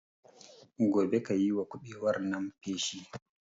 Gobe kayiwa kuɓewar nan feshi